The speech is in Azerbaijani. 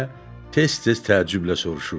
deyə tez-tez təəccüblə soruşurdu.